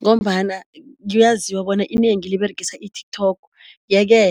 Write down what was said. Ngombana kuyaziwa bona inengi liberegisa i-TikTok, yeke